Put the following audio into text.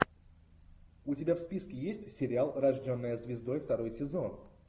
у тебя в списке есть сериал рожденная звездой второй сезон